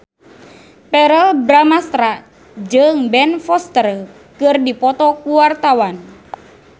Verrell Bramastra jeung Ben Foster keur dipoto ku wartawan